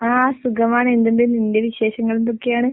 ആഹ് സുഖമാണ്, എന്തുണ്ട് നിന്റെ വിശേഷങ്ങൾ എന്തൊക്കെയാണ്?